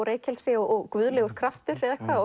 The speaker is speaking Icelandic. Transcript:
reykelsi og guðlegur kraftur